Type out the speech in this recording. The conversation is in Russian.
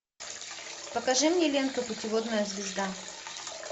покажи мне ленту путеводная звезда